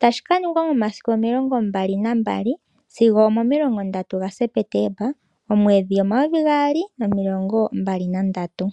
tashikaningwa momasiku 22 sigo 30 gaSepetemba 2023.